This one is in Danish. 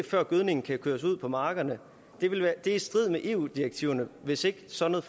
før gødningen kan køres ud på markerne det er i strid med eu direktiverne hvis ikke sådan